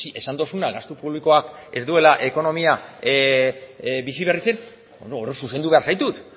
esan duzuna gastu publikoak ez duela ekonomia biziberritzen hor zuzendu behar zaitut